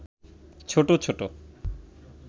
ছোট-ছোট